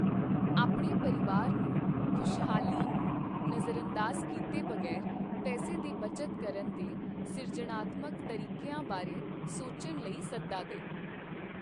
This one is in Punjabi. ਆਪਣੇ ਪਰਿਵਾਰ ਨੂੰ, ਖੁਸ਼ਹਾਲੀ ਨੂੰ ਨਜ਼ਰਅੰਦਾਜ਼ ਕੀਤੇ ਬਗ਼ੈਰ ਪੈਸੇ ਦੀ ਬਚਤ ਕਰਨ ਦੇ ਸਿਰਜਣਾਤਮਕ ਤਰੀਕਿਆਂ ਬਾਰੇ ਸੋਚਣ ਲਈ ਸੱਦਾ ਦੇ ।